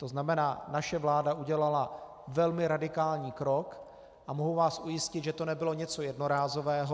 To znamená, naše vláda udělala velmi radikální krok a mohu vás ujistit, že to nebylo něco jednorázového.